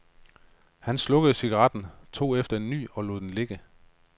Hun slukkede cigaretten, tog efter en ny og lod den ligge.